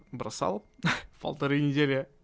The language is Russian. бросал полторы недели